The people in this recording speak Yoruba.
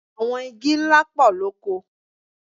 Àwọn igi ńlá pọ̀ lóko.